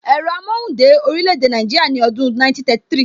Ẹ̀rọ amóhùn dé orílè èdè Nàìjíríà ní ọdún 1933